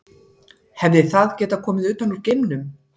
Hefði það getað komið utan úr geimnum?